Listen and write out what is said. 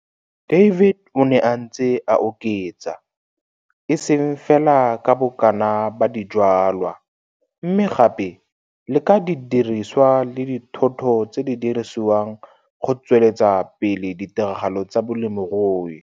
David o ne a ntse a oketsa, e seng fela ka bokana ba dijwalwa, mme gape le ka didiriswa le thoto tse di dirisiwang go tsweletsa pele ditiragalo tsa bolemirui.